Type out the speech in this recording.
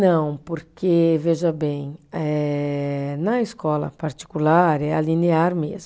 Não, porque, veja bem, eh na escola particular é a linear mesmo.